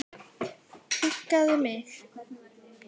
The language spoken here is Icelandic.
Huggaði mig.